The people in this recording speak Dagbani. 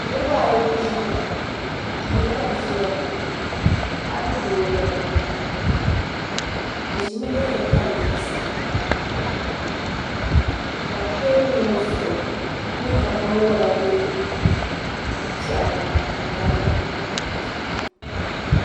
niribaayi ban ʒɛya ŋɔ doni ka beʒɛya maa paɣ ni do n bala be ʒɛmi yini tɛlivɛsa ka be tɛbuli ŋɔ zuɣ n nyɛ ka bɛni wala bɛ pɛɣini n tamiya